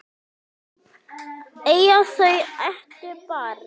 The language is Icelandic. Eiga þau eitt barn.